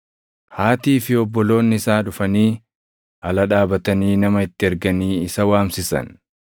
Haatii fi obboloonni isaa dhufanii, ala dhaabatanii nama itti erganii isa waamsisan.